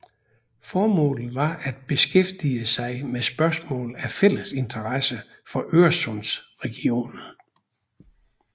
Formålet var at beskæftige sig med spørgsmål af fælles interesse for Øresundsregionen